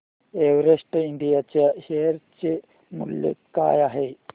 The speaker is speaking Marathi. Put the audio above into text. एव्हरेस्ट इंड च्या शेअर चे मूल्य काय आहे